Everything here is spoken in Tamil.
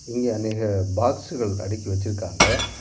இங்க நறைய பாக்ஸ்கள் அடக்கி வச்சிருக்காங்க.